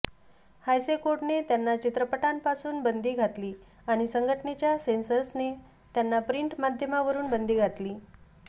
हायसे कोडने त्यांना चित्रपटांपासून बंदी घातली आणि संघटनेच्या सेन्सर्सने त्यांना प्रिंट माध्यमावरुन बंदी घातली